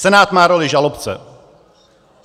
Senát má roli žalobce.